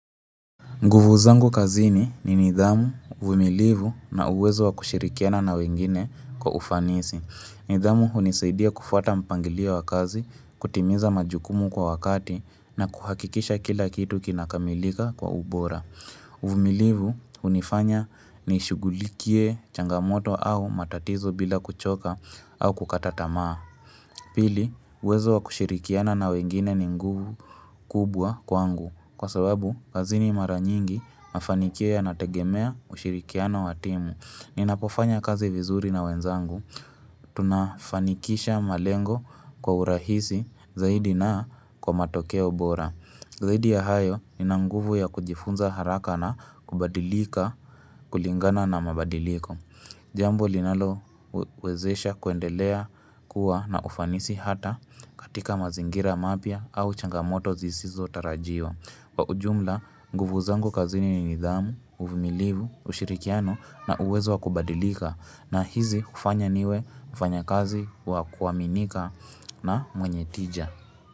Nguvu zangu kazini ni nidhamu, uvumilivu na uwezo wa kushirikiana na wengine kwa ufanisi. Nidhamu hunisaidia kufuata mpangilio wa kazi, kutimiza majukumu kwa wakati na kuhakikisha kila kitu kinakamilika kwa ubora. Uvumilivu hunifanya ni shugulikie changamoto au matatizo bila kuchoka au kukata tamaa. Pili, uwezo wa kushirikiana na wengine ni nguvu kubwa kwangu. Kwa sababu, kazi ni mara nyingi mafanikio ya nategemea ushirikiano watimu. Ninapofanya kazi vizuri na wenzangu. Tunafanikisha malengo kwa urahisi zaidi na kwa matokeo bora. Zaidi ya hayo, ninanguvu ya kujifunza haraka na kubadilika kulingana na mabadiliko. Jambo linalo wezesha kuendelea kuwa na ufanisi hata katika mazingira mapya au changamoto zisizo tarajiwa. Kwa ujumla, nguvu zangu kazini ni nidhamu, uvumilivu, ushirikiano na uwezo wakubadilika na hizi ufanya niwe mfanya kazi wakuaminika na mwenye tija.